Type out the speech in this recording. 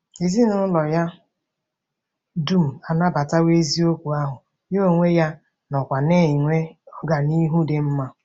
Ezinụlọ ya dum anabatawo eziokwu ahụ, ya onwe ya onwe ya nọkwa na-enwe ọganihu dị mma.